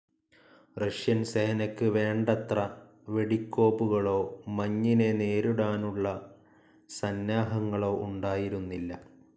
Russian സേനക്ക് വേണ്ടത്ര വെടിക്കോപ്പുകളോ മഞ്ഞിനെ നേരിടാനുള്ള സന്നാഹങ്ങളോ ഉണ്ടായിരുന്നില്ല.